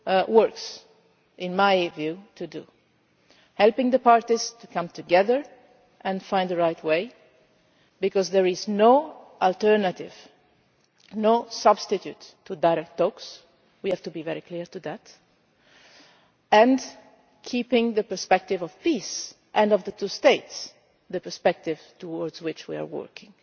two works, in my view, to do helping the parties to come together and find the right way, because there is no alternative, no substitute for direct talks we have to be very clear about that and keeping the perspective of peace and of the two states, the perspective towards which we are working.